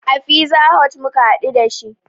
A fiza hot muka haɗu dashi